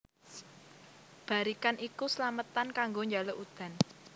Barikan iku slametan kanggo njaluk udan